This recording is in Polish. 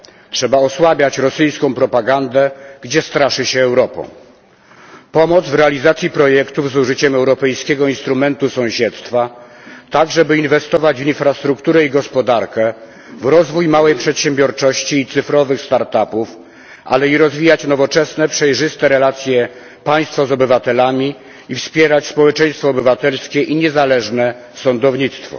Trzeba osłabiać rosyjską propagandę, gdzie straszy się Europą. To oznacza pomoc w realizacji projektów z użyciem Europejskiego Instrumentu Sąsiedztwa, tak żeby inwestować w infrastrukturę i gospodarkę, w rozwój małej przedsiębiorczości i cyfrowych start upów, ale i rozwijać nowoczesne, przejrzyste relacje państwa z obywatelami i wspierać społeczeństwo obywatelskie i niezależne sądownictwo.